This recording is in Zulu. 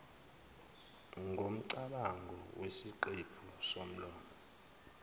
ngomcabango ngeziqephu zomlomo